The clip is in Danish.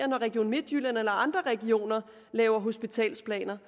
når region midtjylland eller andre regioner lave hospitalsplaner